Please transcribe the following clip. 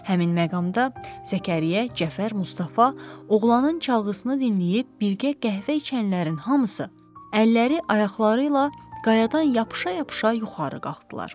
Həmin məqamda Zəkəriyyə, Cəfər, Mustafa, oğlanın çalğısını dinləyib birgə qəhvə içənlərin hamısı əlləri, ayaqları ilə qayadan yapışa-yapışa yuxarı qalxdılar.